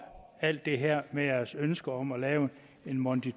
alt det her med deres ønske om at lave en monti